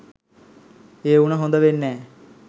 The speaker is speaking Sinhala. ඒ උණ හොද වෙන්නෑ